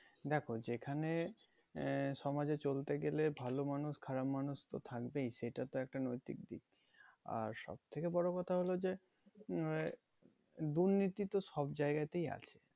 দেখো যেখানে আহ সমাজে চলতে গেলে ভালো মানুষ খারাপ মানুষ তো থাকবেই সেটা তো একটা নৈতিক দিক আর সব থেকে বড় কথা হলো যে উম দুর্নীতি তো সব জায়গাতেই আছে